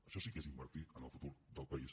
això sí que és invertir en el futur del país